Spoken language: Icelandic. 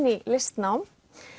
í listnám